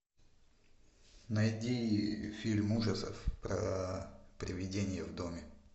найди фильм ужасов про привидение в доме